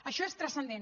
això és transcendent